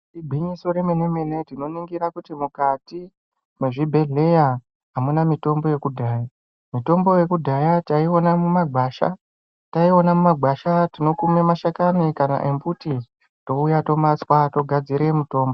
Igwinyiso remene mene, tinotingira kuti mukati mwezvibhedhleya hamuna mitombo yekudhaya. Mitombo yekudhaya taiiona mumagwasha. Taiona mumagwasha tinokume mashakani kana embuti touya tomatswa togadzire mutombo.